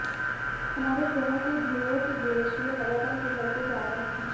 हमारे ग्रहों के ध्रुवों के ग्लेशियर लगातार पिघलते जा रहे हैं